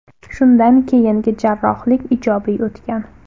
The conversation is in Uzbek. Shundan keyingi jarrohlik ijobiy o‘tgan.